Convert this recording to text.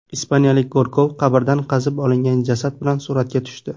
Ispaniyalik go‘rkov qabrdan qazib olingan jasad bilan suratga tushdi.